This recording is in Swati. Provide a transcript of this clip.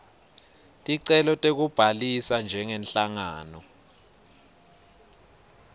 ticelo tekubhalisa njengenhlangano